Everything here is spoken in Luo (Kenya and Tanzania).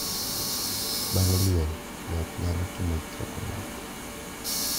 Bang' liel, joot nyalo timo chokruok